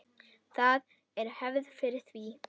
Það er hefð fyrir því.